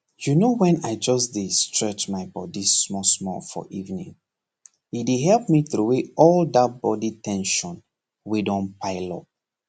you know when i just dey stretch my body smallsmall for evening e dey help me throway all that body ten sion wey don pile up